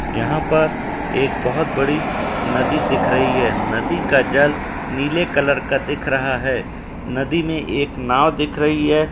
यहाँं पर एक बहुत बड़ी नदी दिख रही है। नदी का जल नीले कलर का दिख रहा है। नदी में एक नाव दिख रही है।